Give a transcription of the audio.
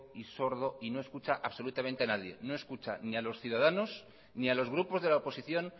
sordo y no escucha absolutamente a nadie no escucha ni a los ciudadanos ni a los grupos de la oposición